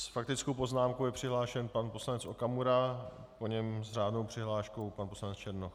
S faktickou poznámkou je přihlášen pan poslanec Okamura, po něm s řádnou přihláškou pan poslanec Černoch.